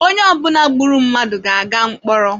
Onye ọ bụla gburu mmadụ ga-aga mkpọrọ.